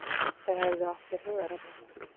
Þau hefðu átt sér hugðarefni.